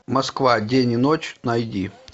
москва день и ночь найди